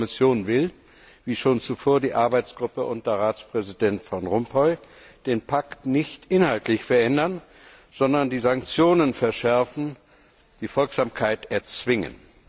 Die Kommission will, wie schon zuvor die Arbeitsgruppe unter Ratspräsident Van Rompuy, den Pakt nicht inhaltlich verändern, sondern die Sanktionen verschärfen, die Folgsamkeit erzwingen.